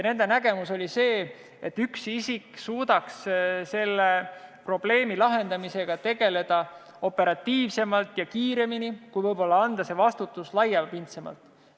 Nende nägemus oli see, et üks isik suudaks selle probleemi lahendamisega tegeleda operatiivsemalt ja kiiremini, kui võib-olla oleks võimalik siis, kui anda see vastutus laiapindsemalt.